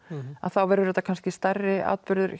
þá verður þetta kannski stærri atburður